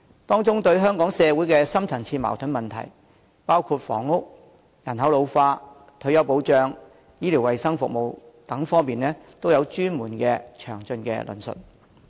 當中對香港社會的深層次矛盾問題，包括房屋、人口老化、退休保障和醫療衞生服務等各方面，都有專門和詳盡的論述。